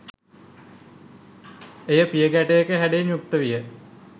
එය පියගැටයක හැඩයෙන් යුක්ත විය.